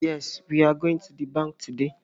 Yes, we are going to the bank today